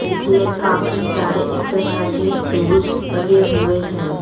इसमें काफी सारे एक्सरसाइजिंग टूल्स लगे हुए हैं।